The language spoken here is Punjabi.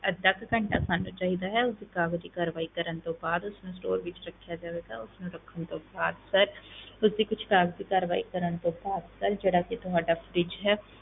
ਅੱਧਾ ਕੁ ਘੰਟਾ ਸਾਨੂੰ ਚਾਹੀਦਾ ਹੈ, ਉਸਦੀ ਕਾਗਜ਼ੀ ਕਾਰਵਾਈ ਕਰਨ ਤੋਂ ਬਾਅਦ ਉਸਨੂੰ store ਵਿੱਚ ਰੱਖਿਆ ਜਾਵੇਗਾ ਉਸ ਨੂੰ ਰੱਖਣ ਤੋਂ ਬਾਅਦ sir ਉਸਦੀ ਕੁਛ ਕਾਗਜ਼ੀ ਕਾਰਵਾਈ ਕਰਨ ਤੋਂ ਬਾਅਦ sir ਜਿਹੜਾ ਕਿ ਤੁਹਾਡਾ fridge ਹੈ